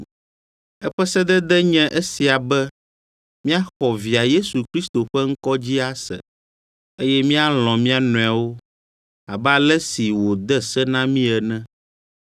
Eƒe sedede nye esia be míaxɔ via Yesu Kristo ƒe ŋkɔ dzi ase, eye míalɔ̃ mía nɔewo abe ale si wòde se na mí ene.